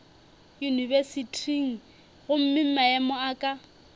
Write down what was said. yunibesithing gomme maemo a ka